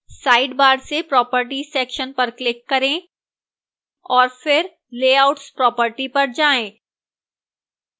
sidebar से properties section पर click करें और फिर layouts properties पर जाएं